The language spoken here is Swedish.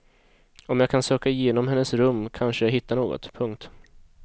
Om jag kan söka igenom hennes rum kanske jag hittar något. punkt